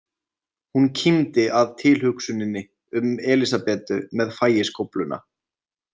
Hún kímdi að tilhugsuninni um Elísabetu með fægiskófluna.